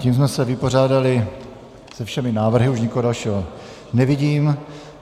Tím jsme se vypořádali se všemi návrhy, už nikoho dalšího nevidím.